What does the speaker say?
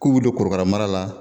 K'u bɛ don korokara mara la.